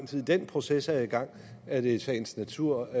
den proces er i gang er det i sagens natur